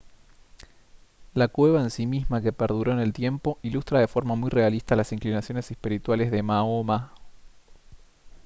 la cueva en sí misma que perduró en el tiempo ilustra de forma muy realista las inclinaciones espirituales de mahoma